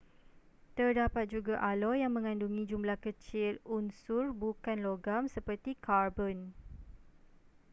terdapat juga aloi yang mengandungi jumlah kecil unsur bukan logam seperti karbon